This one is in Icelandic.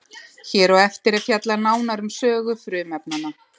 Hér á eftir er fjallað nánar um sögu frumefnanna.